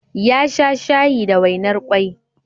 Ya sha shayi da wainar kwai.